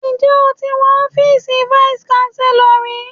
Ǹjẹ́ o ti wọ ọ́fíìsì vice Chancellor rí?